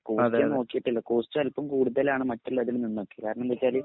costly നോക്കീട്ടില്ല costly അൽപ്പം കൂടുതലാണ് മറ്റുള്ളതിൽനിന്നും കാരണം എന്താന്നുവെച്ചാല്